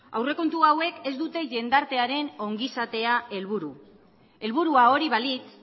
aurrekontu hauek ez dute jendartearen ongizatea helburu helburua hori balitz